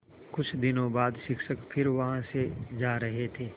कुछ दिनों बाद शिक्षक फिर वहाँ से जा रहे थे